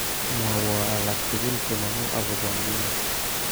Mwowo alaktugul chemongu akobo nguni